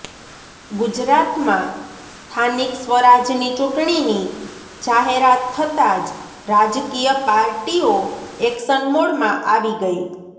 ગુજરાતમાં સ્થાનિક સ્વરાજની ચૂંટણીની જાહેરાત થતા જ રાજકીય પાર્ટીઓ એક્શન મોડમાં આવી ગઇ